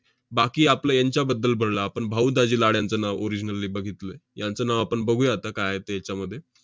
बाकी आपलं यांच्याबद्दल बोललो आपण. भाऊ दाजी लाड यांचं नाव originally बघितलंय. यांचं नाव आपण बघूया आता काय आहे ते याच्यामध्ये.